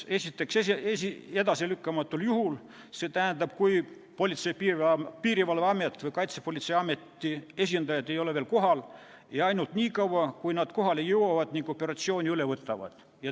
Esiteks, edasilükkamatul juhul, st kui Politsei- ja Piirivalveameti või Kaitsepolitseiameti esindajad ei ole veel kohal, ja ainult nii kaua, kui nad kohale jõuavad ning operatsiooni üle võtavad.